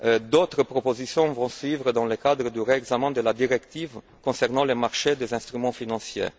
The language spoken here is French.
D'autres propositions vont suivre dans le cadre du réexamen de la directive concernant le marché des instruments financiers.